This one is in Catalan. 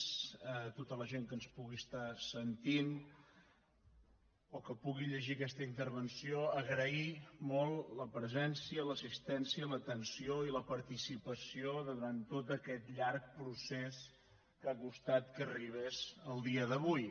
tota la gent que ens pugui estar sentint o que pugui llegir aquesta intervenció agrair molt la presència l’assistència l’atenció i la participació durant tot aquest llarg procés que ha costat que arribés al dia d’avui